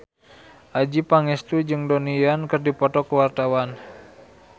Adjie Pangestu jeung Donnie Yan keur dipoto ku wartawan